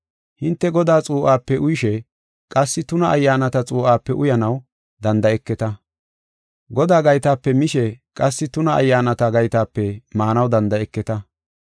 Hinte Godaa xuu7ape uyishe, qassi tuna ayyaanata xuu7ape uyanaw danda7eketa. Godaa gaytape mishe qassi tuna ayyaanata gaytape maanaw danda7eketa.